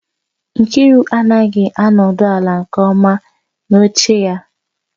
Nkiru anaghị anọdụ ala nke ọma n'oche ya